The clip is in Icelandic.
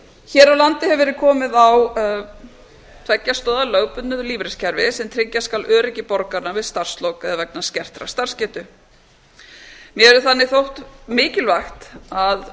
hér á landi hefur verð komið á tveggja stoða lögbundnu lífeyriskerfi sem tryggja skal öryggi borgaranna við starfslok eða vegna skertar starfsgetu mér hefur þannig þótt mikilvægt að